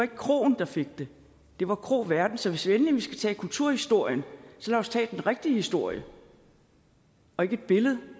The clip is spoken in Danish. kroen der fik det det var kroværten så hvis endelig vi skal tage kulturhistorien så lad os tage den rigtige historie og ikke et billede